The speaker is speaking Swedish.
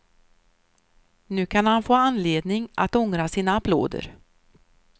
Nu kan han få anledning att ångra sina applåder.